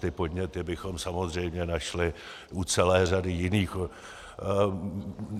Ty podněty bychom samozřejmě našli u celé řady jiných.